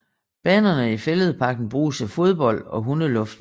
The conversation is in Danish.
Banerne i Fælledparken bruges til fodbold og hundeluftning